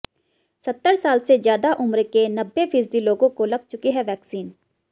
सत्तर साल से ज्यादा उम्र के नब्बे फीसदी लोगों को लग चुकी है वैक्सीन